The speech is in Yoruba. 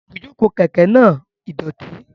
Ibujoko keke naa idoti.